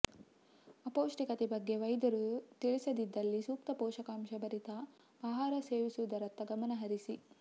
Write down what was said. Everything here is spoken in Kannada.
ಅಪೌಷ್ಟಿಕತೆ ಬಗ್ಗೆ ವೈದ್ಯರು ತಿಳಿಸಿದ್ದಲ್ಲಿ ಸೂಕ್ತ ಪೋಷಕಾಂಶಭರಿತ ಆಹಾರ ಸೇವಿಸುವುದರತ್ತ ಗಮನ ಹರಿಸಿ